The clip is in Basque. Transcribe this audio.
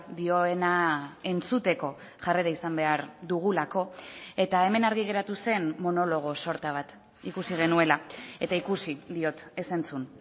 dioena entzuteko jarrera izan behar dugulako eta hemen argi geratu zen monologo sorta bat ikusi genuela eta ikusi diot ez entzun